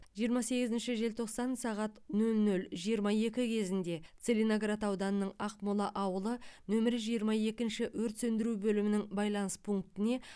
жиырма сегізінші желтоқсан сағат нөл нөл жиырма екі кезінде целиноград ауданының ақмол ауылы нөмірі жиырма екінші өрт сөндіру бөлімінің байланыс пунктіне